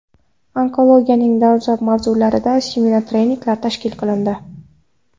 Onkologiyaning dolzarb mavzularida seminar-treninglar tashkil qilindi.